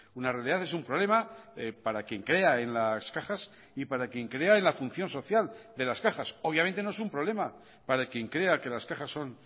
una realidad es un problema para quien crea en las cajas y para quien crea en la función social de las cajas obviamente no es un problema para quien crea que las cajas son